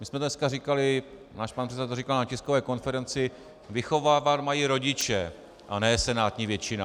My jsme dneska říkali, náš pan předseda to říkal na tiskové konferenci, vychovávat mají rodiče a ne senátní většina.